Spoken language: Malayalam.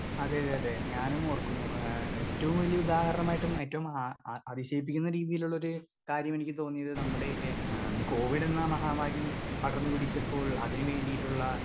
സ്പീക്കർ 2 അതേയതേയതേ ഞാനും ഓർക്കുന്നു ഏ ഏറ്റവും വല്ല്യ ഉദാഹരണമായിട്ടും ഏറ്റവും ആ ആ അതിശയിപ്പിക്കുന്ന രീതിയിലുള്ളൊര് കാര്യമെനിക്ക് തോന്നീത് നമ്മുടേ ആ കോവിഡെന്ന മഹാമാരി പടർന്നു പിടിച്ചപ്പോൾ അതിന് വേണ്ടീട്ടുള്ള.